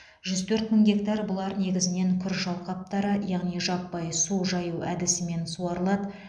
жүз төрт мың гектар бұлар негізінен күріш алқаптары яғни жаппай су жаю әдісімен суарылады